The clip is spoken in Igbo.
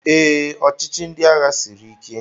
Ee, ọchịchị ndị agha siri ike